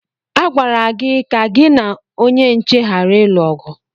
Agwara gị ka gị na onye nche ghara ịlụ ọgụ!